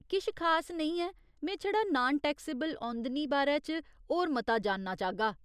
किश खास नेईं ऐ, में छड़ा नान टैक्सेबल औंदनी बारै च होर मता जानना चाह्गा।